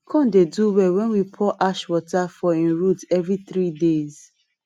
corn dey do well when we pour ash water for e root every three days